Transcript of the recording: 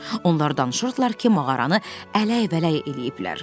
Onlar danışırdılar ki, mağaranı ələk-vələk eləyiblər.